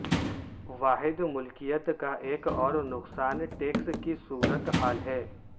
واحد ملکیت کا ایک اور نقصان ٹیکس کی صورت حال ہے